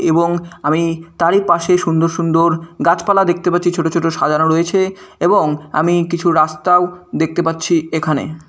এবং আমি তারই পাশে সুন্দর সুন্দর গাছপালা দেখতে পাচ্ছি ছোট ছোট সাজানো রয়েছে এবং আমি কিছু রাস্তাও দেখতে পাচ্ছি এখানে।